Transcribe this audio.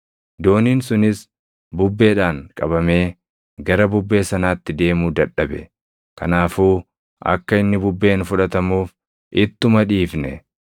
Dooniin sunis bubbeedhaan qabamee gara bubbee sanaatti deemuu dadhabe; kanaafuu akka inni bubbeen fudhatamuuf ittuma dhiifne.